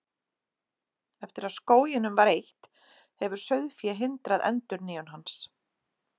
Eftir að skóginum var eytt, hefur sauðfé hindrað endurnýjun hans.